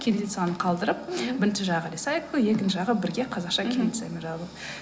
кириллицаны қалдырып бірінші жағы рисайкл екінші жағы бірге қазақша кириллицамен жазыл